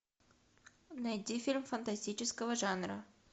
найди фильм фантастического жанра